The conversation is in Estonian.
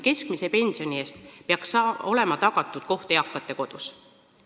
Keskmise pensioni eest peaks olema tagatud koht eakate kodus.